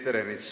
Peeter Ernits.